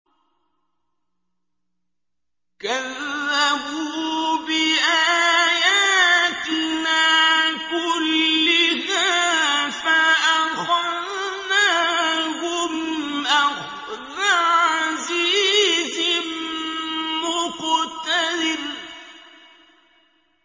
كَذَّبُوا بِآيَاتِنَا كُلِّهَا فَأَخَذْنَاهُمْ أَخْذَ عَزِيزٍ مُّقْتَدِرٍ